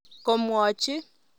Komwachi.